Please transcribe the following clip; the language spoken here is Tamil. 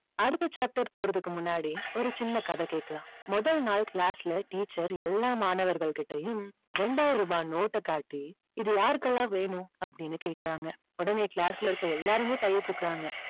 அடுத்த chapter போறதுக்கு முன்னாடி ஒரு சின்ன கதை கேக்கலாம். முதல் நாள் class ல teacher எல்லா மாணவர்கள் கிட்டயும் ரெண்டாயிரம் ரூபாய் நோட்டை காட்டி இது யாருக்கெல்லாம் வேணும் அப்படின்னு கேக்குறாங்க. உடனே class ல இருக்க எல்லாருமே கைய தூக்குறாங்க.